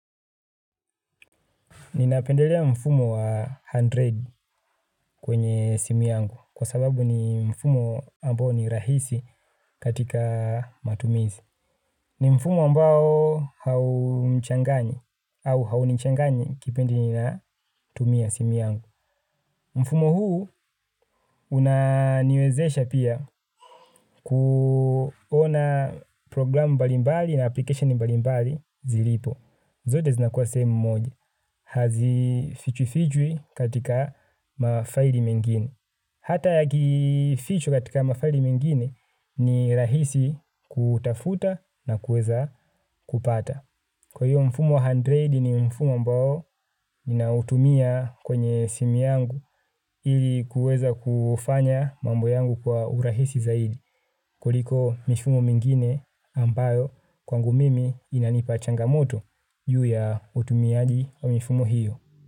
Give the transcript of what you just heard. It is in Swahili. Ninapendelea mfumo wa mia moja kwenye simu yangu kwa sababu ni mfumo ambao ni rahisi katika matumizi. Ni mfumo ambao haumchanganyi au haunchanganyi kipindi ninatumia simu yangu. Mfumo huu unaniwezesha pia kuona programu mbalimbali na application mbalimbali zilipo. Zote zinakua sehemu moja, hazifichwifichwi katika mafaili mengine. Hata yakifichwa katika mafaili mengine ni rahisi kutafuta na kuweza kupata. Kwa hiyo mfumo mia moja ni mfumo ambao nautumia kwenye simu yangu ili kuweza kufanya mambo yangu kwa urahisi zaidi kuliko mifumo mingine ambayo kwangu mimi inanipa changamoto juu ya utumiaji wa mifumo hiyo.